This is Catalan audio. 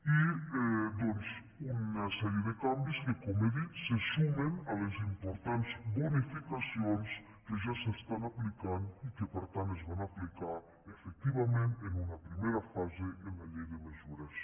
i doncs una sèrie de canvis que com he dit se sumen a les importants bonificacions que ja s’estan aplicant i que per tant es van aplicar efectivament en una primera fase en la llei de mesures